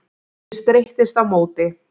Ég streittist á móti.